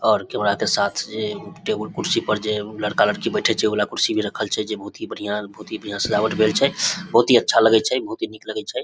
और कैमरा के साथ जेई टेबुल कुर्सी पर जेई लड़का-लड़की बैठे छै ऊ वला कुर्सी भी रखल छै जेई बहुत ही बहुत ही बढ़िया सजावट भेल छै बहुत ही अच्छा लगे छै बहुत ही निक लगे छै ।